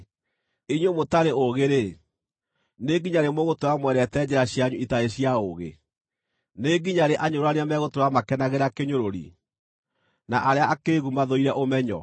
“Inyuĩ mũtarĩ ũũgĩ-rĩ, nĩ nginya rĩ mũgũtũũra mwendete njĩra cianyu itarĩ cia ũũgĩ? Nĩ nginya rĩ anyũrũrania megũtũũra makenagĩra kĩnyũrũri, na arĩa akĩĩgu mathũire ũmenyo?